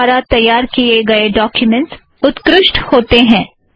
LaTeX द्वारा तैयार किए गए डॊक्युमेंट्स उत्कृष्ठ हैं